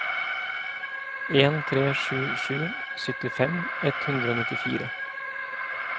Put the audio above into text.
en tre sju sju syttifem ett hundre og nittifire